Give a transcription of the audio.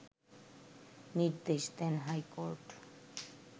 নির্দেশ দেন হাইকোর্ট